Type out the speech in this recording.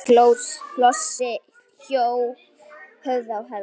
Flosi hjó höfuðið af Helga.